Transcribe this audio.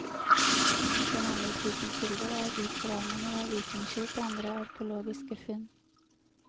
Den andre typen kilder er utgravninger av vikingskip og andre arkeologiske funn.